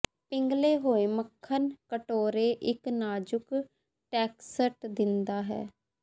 ਪਿਘਲੇ ਹੋਏ ਮੱਖਣ ਕਟੋਰੇ ਇੱਕ ਨਾਜੁਕ ਟੈਕਸਟ ਦਿੰਦਾ ਹੈ